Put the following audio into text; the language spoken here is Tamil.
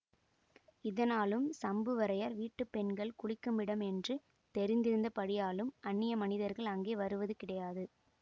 இதனாலும் சம்புவரையர் வீட்டு பெண்கள் குளிக்குமிடம் என்று தெரிந்திருந்தபடியாலும் அன்னிய மனிதர்கள் அங்கே வருவது கிடையாது